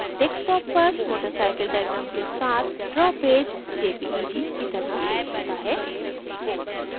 desktop पर watercycle diagram के साथ draw पेज jpeg की तरह सेव होता है